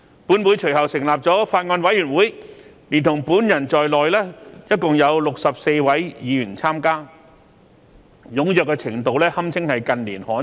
本會隨後成立法案委員會，連同本人在內共有64位議員參加，踴躍程度堪稱近年罕見。